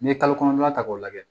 N'i ye kalo kɔnɔntɔn ta k'o lajɛ